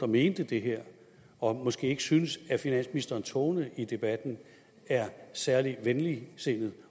mente det her og måske ikke synes at finansministerens tone i debatten er særlig venligtsindet